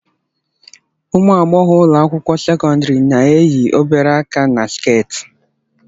Ụmụ agbọghọ ụlọ akwụkwọ sekọndrị na-eyi obere aka na sket